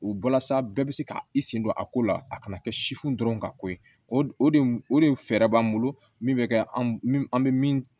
U walasa bɛɛ bɛ se ka i sen don a ko la a kana kɛ sifu dɔrɔn ka ko ye o de o de fɛɛrɛ b'an bolo min bɛ kɛ an an bɛ min